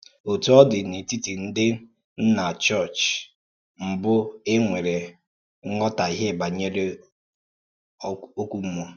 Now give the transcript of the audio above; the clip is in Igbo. Ǒtú ọ dị, n’etítì ǹdí Nna Chọọ̀chị mbụ̀, è nwèrè nghòtàhìè bànyèrè ọ́kụ́ mmúọ̀.